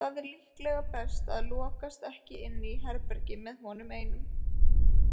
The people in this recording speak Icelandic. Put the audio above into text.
Það er líklega best að lokast ekki inni í herbergi með honum einum.